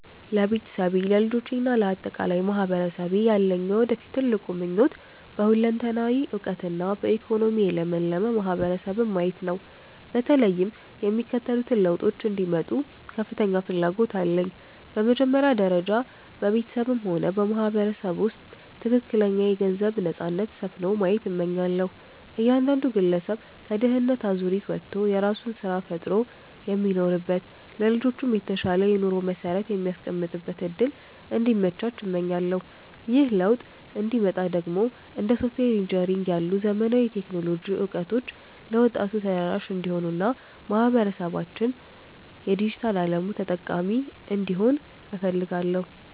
ለቤተሰቤ፣ ለልጆቼ እና ለአጠቃላይ ማህበረሰቤ ያለኝ የወደፊት ትልቁ ምኞት በሁለንተናዊ እውቀትና በኢኮኖሚ የለመለመ ማህበረሰብን ማየት ነው። በተለይም የሚከተሉት ለውጦች እንዲመጡ ከፍተኛ ፍላጎት አለኝ፦ በመጀመሪያ ደረጃ፣ በቤተሰቤም ሆነ በማህበረሰቡ ውስጥ ትክክለኛ የገንዘብ ነፃነት (Financial Freedom) ሰፍኖ ማየት እመኛለሁ። እያንዳንዱ ግለሰብ ከድህነት አዙሪት ወጥቶ የራሱን ስራ ፈጥሮ የሚኖርበት፣ ለልጆቹም የተሻለ የኑሮ መሰረት የሚያስቀምጥበት እድል እንዲመቻች እመኛለሁ። ይህ ለውጥ እንዲመጣ ደግሞ እንደ ሶፍትዌር ኢንጂነሪንግ ያሉ ዘመናዊ የቴክኖሎጂ እውቀቶች ለወጣቱ ተደራሽ እንዲሆኑና ማህበረሰባችን የዲጂታል አለሙ ተጠቃሚ እንዲሆን እፈልጋለሁ።